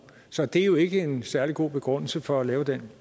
så det er jo ikke en særlig god begrundelse for at lave den